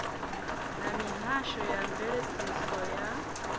na mihasho ya mveledziso ya